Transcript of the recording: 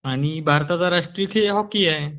हा आणि भारताचा राष्ट्रीय खेळ हॉकी आहे